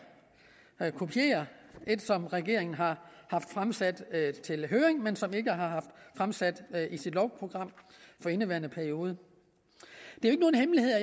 kopiere et som regeringen har haft fremsat til høring men som regeringen ikke har fremsat i sit lovprogram for indeværende periode det